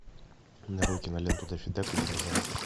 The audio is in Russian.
нарой киноленту даффи дак и динозавр